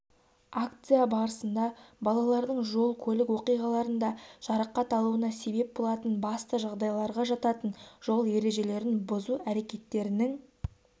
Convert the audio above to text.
акция барысында балалардың жол-көлік оқиғаларында жарақат алуына себеп болатын басты жағдайларға жататын жол ережелерін бүзу әрекеттерінің